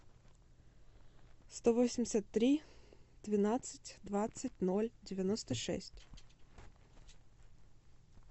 сто восемьдесят три двенадцать двадцать ноль девяносто шесть